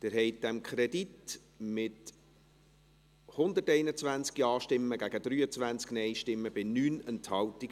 Sie haben diesem Kredit zugestimmt, mit 121 Ja- gegen 23 Nein-Stimmen bei 9 Enthaltungen.